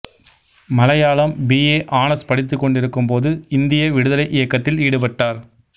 Malayalam B A honours படித்துக்கொண்டிருக்கும்போது இந்திய விடுதலை இயக்கத்தில் ஈடுபட்டார்